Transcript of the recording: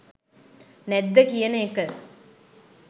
නැද්ද කියන එක